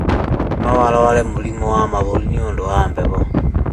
No arware mũrimũ wa mahũri nĩũndũ wa heho